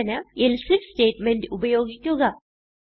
സൂചന else if statement ഉപയോഗിക്കുക